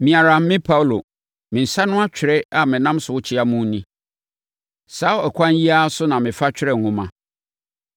Me ara me Paulo, me nsa ano atwerɛ a menam so rekyea mo ni. Saa ɛkwan yi ara so na mefa twerɛ nwoma.